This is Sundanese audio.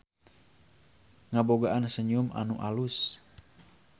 Ngabogaan senyum anu alus.